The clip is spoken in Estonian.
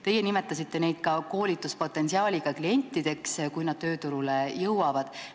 Teie nimetasite neid ka koolituspotentsiaaliga klientideks, kui nad tööturule jõuavad.